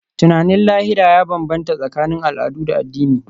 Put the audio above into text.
Tunanin lahira ya bambanta tsakanin al'adu da addinai.